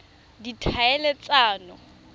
ditlhaeletsano